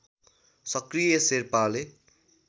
सक्रिय शेर्पाले